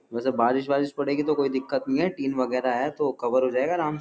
वैसे बारिश-वारिश पड़ेगी तो कोई दिक्कत नहीं है। टीन वगैरा है तो कवर हो जाएगा आराम --